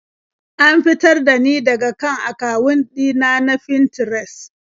An fitar da ni daka kan akawun ɗina na Finterest.